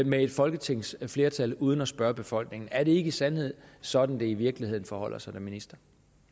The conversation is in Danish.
med et folketingsflertal uden at spørge befolkningen er det ikke i sandhed sådan det i virkeligheden forholder sig ministeren